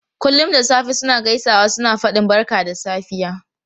Kullum da safe suna gaisawa suna fadin barka da safiya.